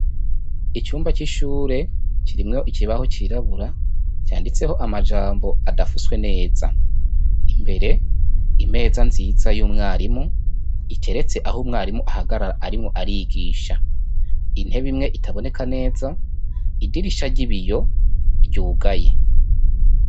Icumba c'ishure kirimwo ikibaho cirabura canditseho amajambo adafuswe neza, imbere impeza nziza y'umwarimu iteretse aho umwarimu ahagarara arimwo arigisha, intebe imwe itaboneka neza idirisha ry'ibiyo ryugaye.